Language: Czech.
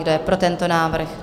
Kdo je pro tento návrh?